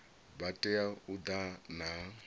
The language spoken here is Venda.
vha tea u ḓa na